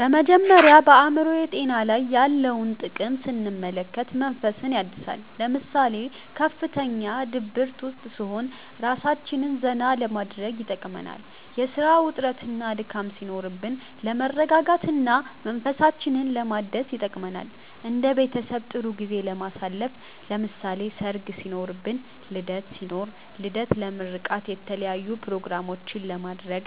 በመጀመሪያ በአእምሮ ጤና ላይ ያለውን ጥቅም ስንመለከት መንፈስን ያድሳል ለምሳሌ ከፍተኛ ድብርት ውስጥ ስንሆን እራሳችንን ዘና ለማድረግ ይጠቅመናል የስራ ውጥረትና ድካም ሲኖርብን ለመረጋጋት እና መንፈሳችንን ለማደስ ይጠቅመናል እንደ ቤተሰብ ጥሩ ጊዜ ለማሳለፍ ለምሳሌ ሰርግ ሲኖርብን ልደት ሲኖር ልደት ለምርቃት የተለያዪ ኘሮግራሞችንም ለማድረግ